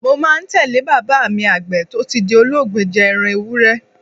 Mo máa ń tẹ̀ lé bàbá mi Àgbẹ̀ tó ti di olóògbé jẹ ẹran Ewúré.